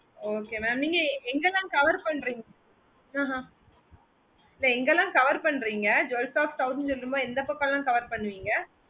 okay mam நீங்க எங்கல்லாம் cover பண்றீங்க அஹ் எங்கல்லாம் cover பண்றீங்க jewel shop scout னு சொல்லும்போது எந்த பக்கம் லாம் cover பண்ணுவீங்க